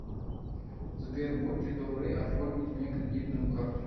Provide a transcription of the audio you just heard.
сбер будьте добры оформить мне кредитную карту